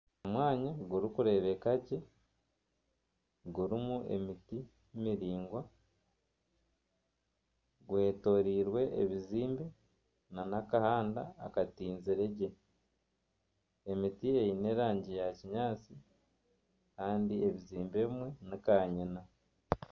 Omwanya gurikurebeka gye gurimu emiti miringwa gwetoreirwe ebizimbe nana akahanda akatinzire gye emiti eine erangi ya kinyaatsi Kandi ebizimbe ebimwe ni kanyina.